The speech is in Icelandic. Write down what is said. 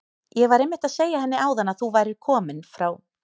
Ég var einmitt að segja henni áðan að þú værir kominn frá